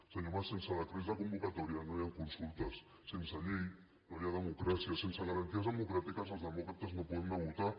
senyor mas sense decrets de convocatòria no hi han consultes sense llei no hi ha democràcia sense garanties democràtiques els demòcrates no podem anar a votar